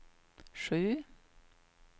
sju